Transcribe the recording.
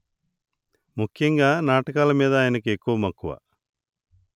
ముఖ్యంగా నాటకాలమీద ఆయనకు ఎక్కువమక్కువ